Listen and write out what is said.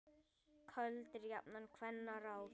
Köld eru jafnan kvenna ráð.